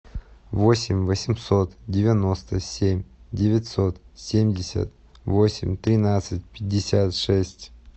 восемь восемьсот девяносто семь девятьсот семьдесят восемь тринадцать пятьдесят шесть